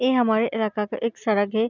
ये हमारे इलाका का एक सड़क है।